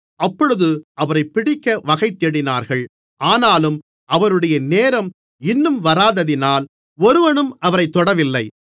அப்பொழுது அவரைப் பிடிக்க வகைதேடினார்கள் ஆனாலும் அவருடைய நேரம் இன்னும் வராததினால் ஒருவனும் அவரைத் தொடவில்லை